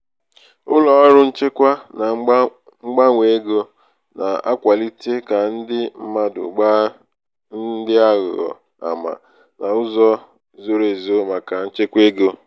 ụlọ ọrụ nchekwa na mgbanwe ego na-akwalite ka ndi mmadụ gbaa ndi aghụghọ ama n'uzo zoro ezo maka nchekwa ego.